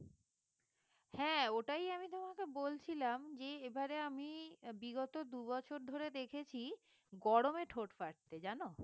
হ্যাঁ ওটাই আমি তোমাকে বলছিলাম যে এবারে আমি বিগত দুই বছর ধরে দেখেছি গরমে ঠোঁট ফাটছে জানো